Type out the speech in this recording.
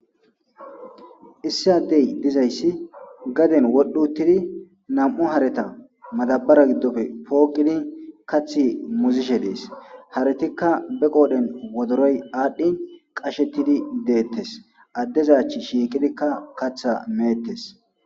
issi addey dizayssi gaden wodhuttidi nam7u hareta madabara giddofe pooqidi kathi muzishe dees haretikka be qoodhen wodoroy aadhdhin qashettidi deettes addezach shiiqidikka katha meettes